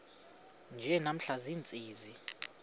nje namhla ziintsizi